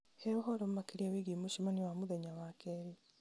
he ũhoro makĩria wĩgiĩ mũcemanio wa mũthenya wa keerĩ